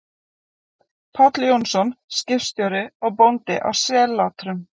Páll Jónsson, skipstjóri og bóndi, á Sellátrum.